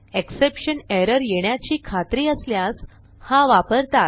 exception error येण्याची खात्री असल्यास हा वापरतात